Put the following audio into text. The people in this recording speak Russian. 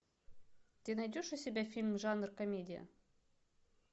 ты найдешь у себя фильм жанр комедия